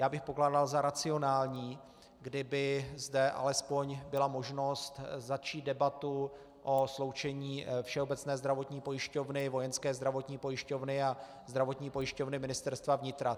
Já bych pokládal za racionální, kdyby zde alespoň byla možnost začít debatu o sloučení Všeobecné zdravotní pojišťovny, Vojenské zdravotní pojišťovny a Zdravotní pojišťovny Ministerstva vnitra.